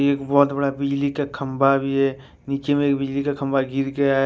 एक बहोत बड़ा बिजली का खंबा भी है नीचे में एक बिजली का खंभा गिर गया है।